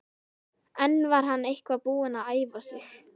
En var hann eitthvað búinn að æfa sig?